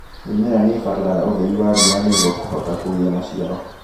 Mĩmera nĩibataraga ũtheri wa riua nĩguo kũhota kũgia maciaro.